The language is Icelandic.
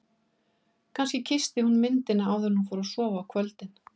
Kannski kyssti hún myndina áður en hún fór að sofa á kvöldin.